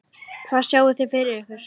Hvað sjáið þið fyrir ykkur?